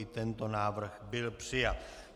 I tento návrh byl přijat.